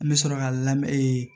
N bɛ sɔrɔ ka lamɛn